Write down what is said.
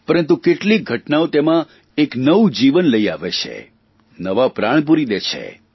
પરંતુ કેટલીક ઘટનાઓ તેમાં એક નવું જીવન લઇ આવે છે નવા પ્રાણ પૂરી દે છે